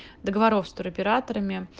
договор с туроператорами